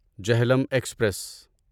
Jhelum express